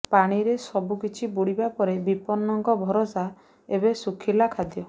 ପାଣିରେ ସବୁ କିଛି ବୁଡିବା ପରେ ବିପନ୍ନଙ୍କ ଭରସା ଏବେ ଶୁଖିଲା ଖାଦ୍ୟ